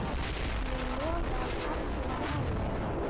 Ég lofa að athuga málið.